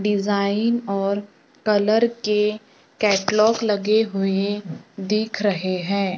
Design और colour के catalogue लगे हुए दिख रहे हैं।